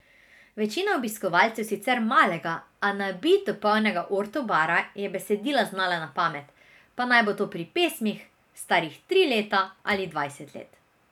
Večina obiskovalcev sicer malega, a nabito polnega Orto bara je besedila znala na pamet, pa naj bo to pri pesmih, starih tri leta ali dvajset let.